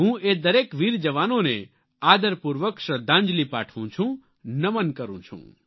હું એ દરેક વીર જવાનોને આદરપૂર્વક શ્રદ્ધાંજલિ પાઠવું છું નમન કરું છું